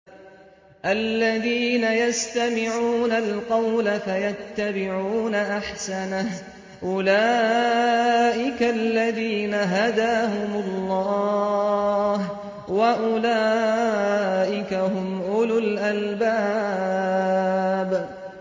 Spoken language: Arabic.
الَّذِينَ يَسْتَمِعُونَ الْقَوْلَ فَيَتَّبِعُونَ أَحْسَنَهُ ۚ أُولَٰئِكَ الَّذِينَ هَدَاهُمُ اللَّهُ ۖ وَأُولَٰئِكَ هُمْ أُولُو الْأَلْبَابِ